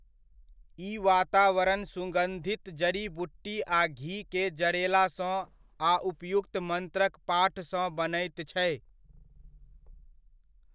ई वातावरण सुगन्धित जड़ी बूटी आ घी के जरेला सँ आ उपयुक्त मन्त्रक पाठ सँ बनैत छै।